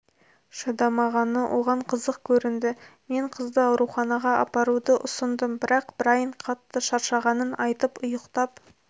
шыдамағаны оған қызық көрінді мен қызды ауруханаға апаруды ұсындым бірақ брайн қатты шаршағанын айтып ұйықтап